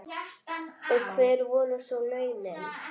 Og hver voru svo launin?